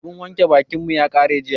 Abun wanke bakin mu ya ƙare jiya.